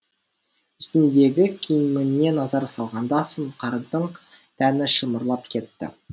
үстіндегі киіміне назар салғанда сұңқардың тәні шымырлап кетті